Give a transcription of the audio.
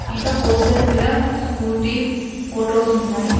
ఇంకా పోస్టర్ మీద Scooty photos ఉన్నాయి.